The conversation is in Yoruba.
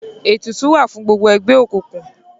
ètùtù wá fún gbogbo ègbé òkùnkùn.